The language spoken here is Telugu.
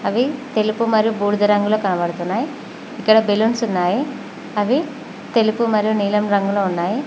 అవి తెలుపు మరియు బూడిద రంగులో కనబడుతున్నాయ్ ఇక్కడ బెలూన్స్ ఉన్నాయి అవి తెలుపు మరియు నీలం రంగులో ఉన్నాయి.